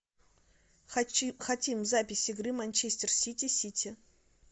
хотим запись игры манчестер сити сити